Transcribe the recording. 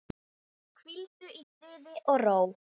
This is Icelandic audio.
Liðið er þannig skipað